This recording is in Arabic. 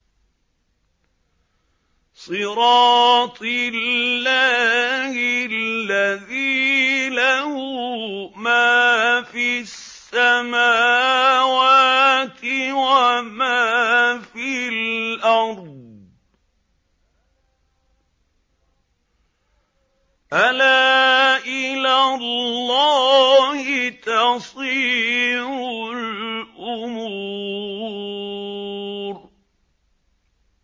صِرَاطِ اللَّهِ الَّذِي لَهُ مَا فِي السَّمَاوَاتِ وَمَا فِي الْأَرْضِ ۗ أَلَا إِلَى اللَّهِ تَصِيرُ الْأُمُورُ